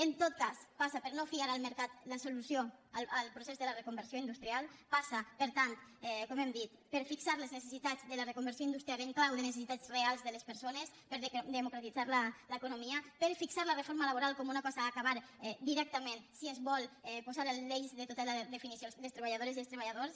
en tot cas passa per no fiar al mercat la solució al procés de la reconversió industrial passa per tant com hem dit per fixar les necessitats de la reconversió industrial en clau de necessitats reals de les persones per democratitzar l’economia per fixar la reforma laboral com una cosa a acabar directament si es vol posar l’eix de tota la definició de les treballadores i els treballadors